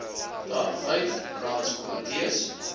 daar vyf raadskomitees